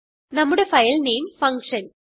നമ്മുടെ file name function